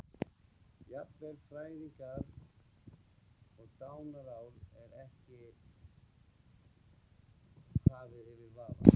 Jafnvel fæðingar- og dánarár er ekki hafið yfir vafa.